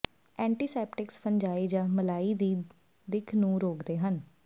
antiseptics fungi ਜਾਂ ਮਲਾਈ ਦੀ ਦਿੱਖ ਨੂੰ ਰੋਕਦੇ ਹਨ